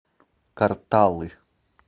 карталы